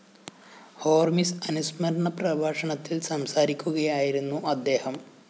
ഹോര്‍മിസ് അനുസ്മരണ പ്രഭാഷണത്തില്‍ സംസാരിക്കുകയായിരുന്നു അദ്ദേഹം